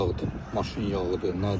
Bir yağdır, maşın yağıdır, nədir?